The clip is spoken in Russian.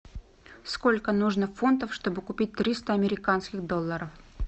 сколько нужно фунтов чтобы купить триста американских долларов